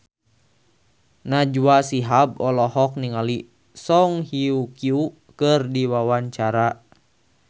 Najwa Shihab olohok ningali Song Hye Kyo keur diwawancara